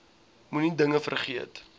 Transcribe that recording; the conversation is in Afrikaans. moenie dinge vergeet